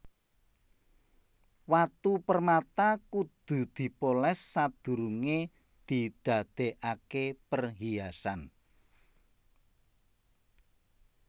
Watu permata kudu dipolès sadurungé didadèkaké perhiasan